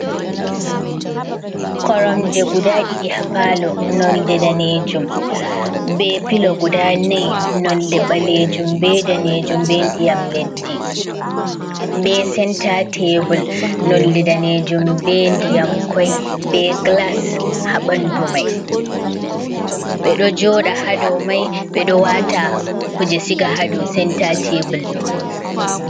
Koromje guda ɗi hl nonɗe danejum ɓe pilo guda n0 nolde balejum ɓe danejum, ɓe ndiyam leddi ɓe senta tebl nolde danejum ɓe ndiyamkoi be glas habandu mai ɓeɗo joɗa hado mai ɓeɗo wata kuje siga hado senta teballo.